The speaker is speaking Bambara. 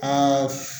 Aa